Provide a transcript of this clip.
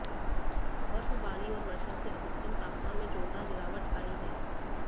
बर्फबारी और वर्षा से अधिकतम तापमान में जोरदार गिरावट आई है